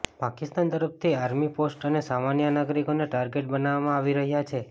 પાકિસ્તાન તરફથી army post અને સામાન્ય નાગરિકોને ટાર્ગેટ બનાવવામાં આવી રહ્યા છે